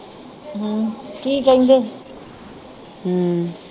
ਕੀ ਕਹਿੰਦੇ ਹੀ?